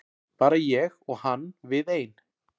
Bara ég og hann við ein.